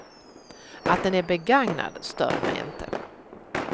Att den är begagnad stör mig inte.